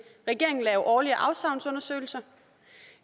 regeringen lave årlige afsavnsundersøgelser